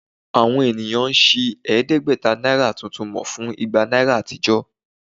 Àwọn ènìyàn ń ṣi ẹ̀ẹ́dẹ́gbẹ̀ta náírà tuntun mú fún igba náírà àtijọ́